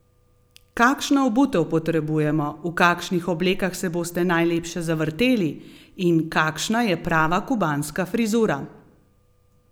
Kakšno obutev potrebujemo, v kakšnih oblekah se boste najlepše zavrteli in kakšna je prava kubanska frizura?